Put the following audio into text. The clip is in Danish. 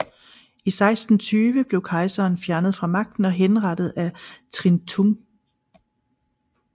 I 1620 blev kejseren fjernet fra magten og henrettet af Trịnh Tùng